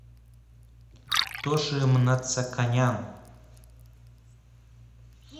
тоши мнацаканян